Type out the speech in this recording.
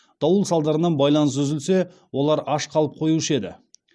дауыл салдарынан байланыс үзілсе олар аш қалып қоюшы еді